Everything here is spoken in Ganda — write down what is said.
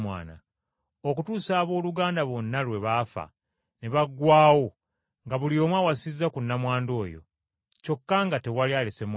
Okutuusa abooluganda bonna lwe baafa ne baggwaawo nga buli omu awasizza ku nnamwandu oyo, kyokka nga tewali alese mwana.